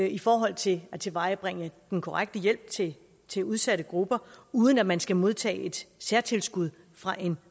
i forhold til at tilvejebringe den korrekte hjælp til til udsatte grupper uden at man skal modtage et særtilskud fra en